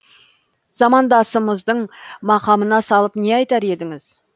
замандасыңыздың мақамына салып не айтар едіңіз